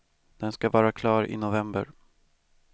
Den ska vara klar i november.